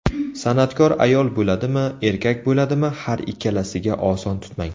San’atkor ayol bo‘ladimi, erkak bo‘ladimi, har ikkalasiga oson tutmang.